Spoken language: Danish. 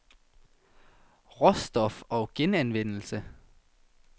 Råstof og Genanvendelse